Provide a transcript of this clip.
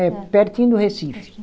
É, pertinho do Recife.